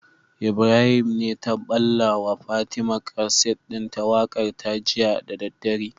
Ibrahim ne ta balla wa fatima kaset din waƙar ta jiya da daddare